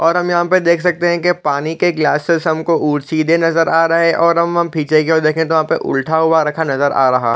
और हम यहाँ पर देख सकते है की पानी की ग्लासेस हमको उलटे सीधे नज़र आ रहे है और हम पीछे की और दिखे तो उल्टा हुआ रखा नज़र आ रहा है।